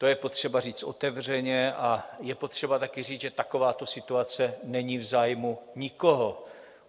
To je potřeba říct otevřeně a je potřeba taky říct, že takováto situace není v zájmu nikoho.